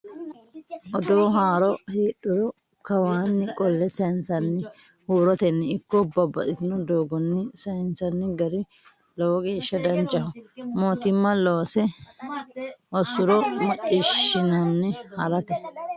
Odoo haaro heedhuro kawanni qolle sayinsanni huuroteni ikko babbaxxitino doogonni saysanni gari lowo geeshsha danchaho mootimma loose hosure maccishshinanni harate.